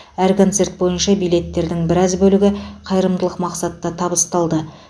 әр концерт бойынша билеттердің біраз бөлігі қайырымдылық мақсатта табысталды